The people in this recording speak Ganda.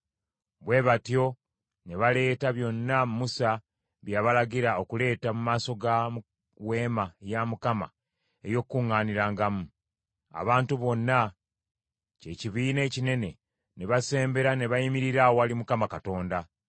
Bwe batyo ne baleeta byonna Musa bye yabalagira okuleeta mu maaso ga Weema ey’Okukuŋŋaanirangamu. Abantu bonna, kye kibiina ekinene, ne basembera ne bayimirira awali Mukama Katonda.